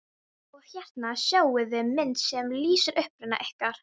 Og hérna sjáiði mynd sem lýsir uppruna ykkar.